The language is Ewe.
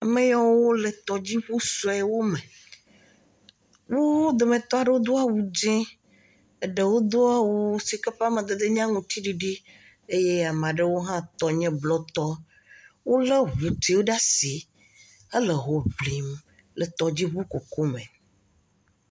Ame yiwo le tɔdiŋu suewo me, wo dometɔ aɖewo do awu dzɛ̃, eɖewo do awu si ke ƒe amadede nye aŋutiɖiɖi eye ame aɖewo hã tɔ nye blɔtɔ wolé ŋutiwo ɖe asi le hoŋlim le tɔdziŋu kuku me.